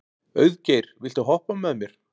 Auðgeir, viltu hoppa með mér?